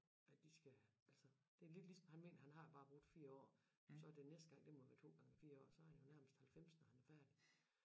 At de skal altså det er lidt ligesom han mener at han har bare brugt 4 år så det næste gang det må være 2 gange 4 år så er han jo nærmest halvfems når han er færdig